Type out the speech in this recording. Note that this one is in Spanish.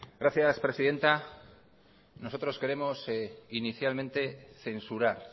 gracias presidenta nosotros queremos inicialmente censurar